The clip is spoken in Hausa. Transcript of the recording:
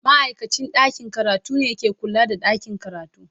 Ma'aikacin ɗakin karatu ne ke kula da ɗakin karatu.